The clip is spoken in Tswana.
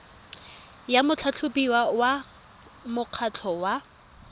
ya motlhatlhobiwa wa mokgatlho wa